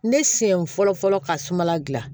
Ne sen fɔlɔ fɔlɔ ka sumala dilan